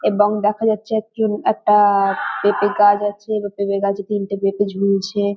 এবং দেখা যাচ্ছে একজন একটা-আ-আ পেঁপে গাছ আছে এবার পেঁপে গাছে তিনটে পেঁপে ঝুলছে-এ ।